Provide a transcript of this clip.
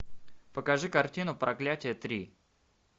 покажи картину проклятие три